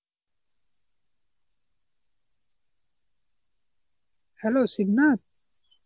hello Shibnath.